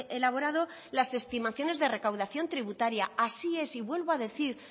elaborado las estimaciones de recaudación tributaria así es y vuelvo a decir